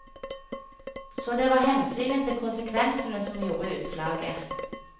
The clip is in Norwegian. Så det var hensynet til konsekvensene som gjorde utslaget.